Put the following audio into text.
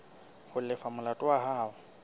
ho lefa molato wa hao